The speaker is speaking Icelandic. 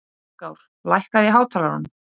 Styrkár, lækkaðu í hátalaranum.